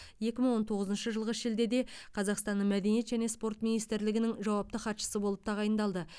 екі мың он тоғызыншы жылғы шілдеде қазақстанның мәдениет және спорт министрлігінің жауапты хатшысы болып тағайындалды